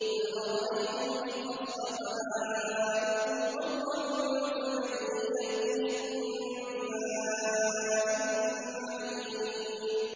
قُلْ أَرَأَيْتُمْ إِنْ أَصْبَحَ مَاؤُكُمْ غَوْرًا فَمَن يَأْتِيكُم بِمَاءٍ مَّعِينٍ